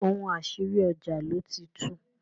ohun àṣírí, ọjà ló ti tún.